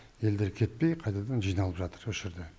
елдер кетпей қайтадан жиналып жатыр осы жерде